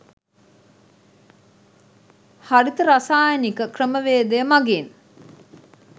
හරිත රසායනික ක්‍රමවේදය මගින්